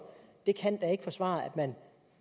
kan da ikke forsvare at man